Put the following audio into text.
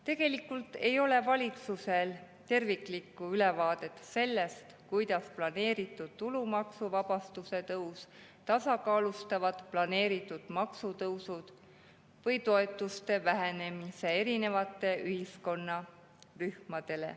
Tegelikult ei ole valitsusel terviklikku ülevaadet sellest, kuidas planeeritud tulumaksuvabastuse tõus tasakaalustab planeeritud maksutõusud või toetuste vähenemise erinevates ühiskonnarühmades.